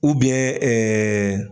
ɛɛ